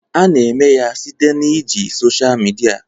A na-eme ya site na iji social media